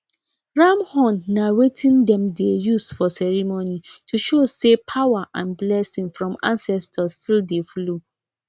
ram horn na wetin dem dey use for ceremony to show say power and blessing from ancestors still dey flow